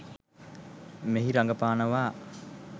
මෙහි රඟපානවා